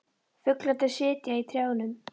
Fuglarnir sitja í trjánum.